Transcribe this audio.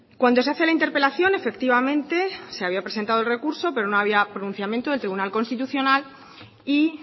cuando se hace la interpelación efectivamente se había presentado el recurso pero no había pronunciamiento del tribunal constitucional y